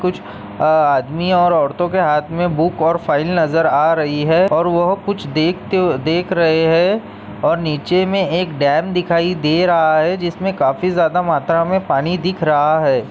कुछ अ आदमी और औरतों के हाथ में बुक और फाइल नजर आ रही है और वह कुछ देखते देख रहे हैं और नीचे में एक डैम दिखाई दे रहा है जिसमें काफी ज्यादा मात्रा में पानी दिख रहा है।